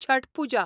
Chhath Puja